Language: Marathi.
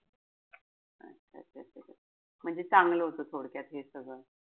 म्हणजे चांगलं होत थोडक्यात हे सगळं.